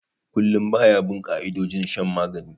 Kullum ba ya bin ka'idojin shan magani